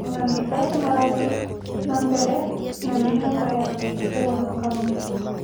Maabithaa nĩmarathiĩ na mbere na mĩhang'o ya ũhonokania